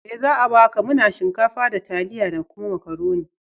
Me za a baka? Muna shinkafa, da taliya da kuma Makaroni.